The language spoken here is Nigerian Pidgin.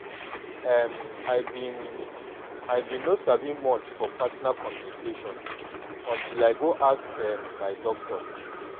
em i been i been no sabi much for partner communication until i go ask um my doctor